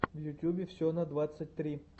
в ютубе все на двадцать три